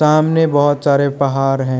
सामने बहोत सारे पहाड़ हैं।